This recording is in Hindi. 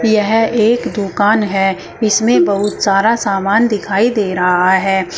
यह एक दुकान है इसमें बहुत सारा सामान दिखाई दे रहा है।